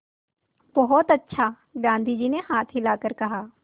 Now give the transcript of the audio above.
बहुत अच्छा गाँधी जी ने हाथ हिलाकर कहा